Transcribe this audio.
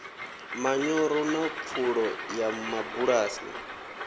manyoro na pfulo ya mabulasi